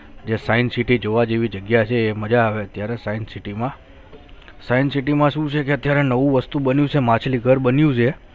આ science city જોવા જેવી જગ્યા છે મજા આવે છે અત્યારે સાયન્સ સિટી મા સાયન્સ સિટી મા શું છે કે અત્યારે નવું વસ્તુ બન્યુ છે માછલી ઘર બન્યુ છે